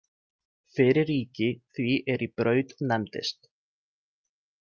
Fyrir ríki því er í Braut nefndist.